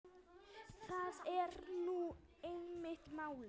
Það er nú einmitt málið.